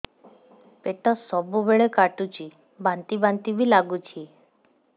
ପେଟ ସବୁବେଳେ କାଟୁଚି ବାନ୍ତି ବାନ୍ତି ବି ଲାଗୁଛି